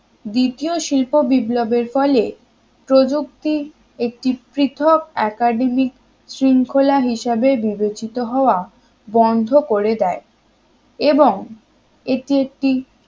দ্বিতীয় শিল্প বিপ্লবের ফলে প্রযুক্তির একটি পৃথক academic শৃঙ্খলা হিসেবে বিবেচিত হওয়া বন্ধ করে দেয় এবং এটি একটি